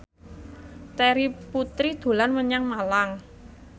Terry Putri dolan menyang Malang